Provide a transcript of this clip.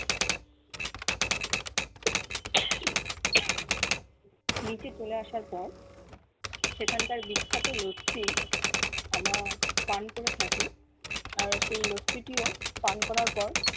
নিচে চলে আসার পর সেখান কার বিখ্যাত লত্তি আমরা পান করে থাকি আর সেই লত্তি টিও পান করার পর